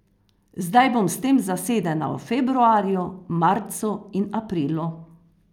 Zdaj bom s tem zasedena v februarju, marcu in aprilu.